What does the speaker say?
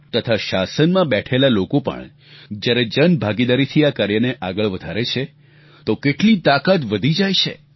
તથા શાસનમાં બેઠેલા લોકો પણ જ્યારે જનભાગીદારીથી આ કાર્યને આગળ વધારે છે તો કેટલી તાકાત વધી જાય છે